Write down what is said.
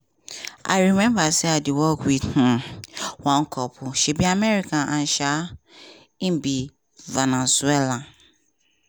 i remember say i dey work wit um one couple she be american and um e be venezuelan.